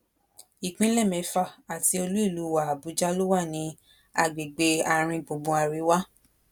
ìpínlẹ mẹfà àti olúìlú wa àbújá ló wà ní agbègbè àáríngbùngbùn àríwá